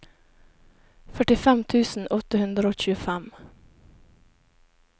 førtifem tusen åtte hundre og tjuefem